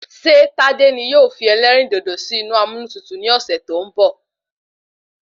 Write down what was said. Ṣé tádé ni yóò fi elérìndòdò sì inú amúnútutù ni ọsẹ tó n bọ?